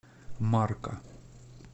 марка